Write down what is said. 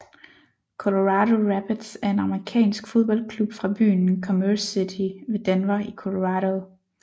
Colorado Rapids er en amerikansk fodboldklub fra byen Commerce City ved Denver i Colorado